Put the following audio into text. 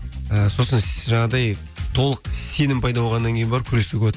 і сосын жаңағыдай толық сенім пайда болғаннан кейін барып күресуге болады